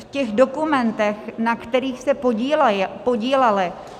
V těch dokumentech, na kterých se podíleli...